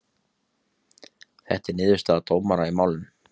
Þetta er niðurstaða dómara í málinu